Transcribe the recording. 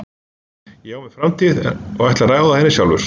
Ég á mér framtíð og ég ætla að ráða henni sjálfur.